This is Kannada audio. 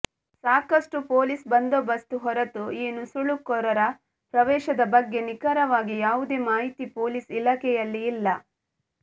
ಸಾಕಷ್ಟುಪೊಲೀಸ್ ಬಂದೋಬಸ್್ತ ಹೊರತೂ ಈ ನುಸುಳುಕೋರರ ಪ್ರವೇಶದ ಬಗ್ಗೆ ನಿಖರವಾಗಿ ಯಾವುದೇ ಮಾಹಿತಿ ಪೊಲೀಸ್ ಇಲಾಖೆಯಲ್ಲಿ ಇಲ್ಲ